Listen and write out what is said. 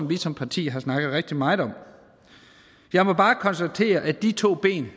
vi som parti har snakket rigtig meget om jeg må bare konstatere at de to ben